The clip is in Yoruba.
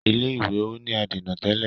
ilé ìwé o ní adèna tẹlẹ.